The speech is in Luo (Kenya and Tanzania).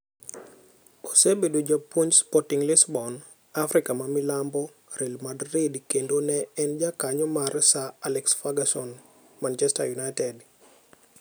Osebedo japuonj Sporting Lisbon, Afrika ma milambo, Real Madrid kendo ne en jakony mar Sir Alex Ferguson Manchester United.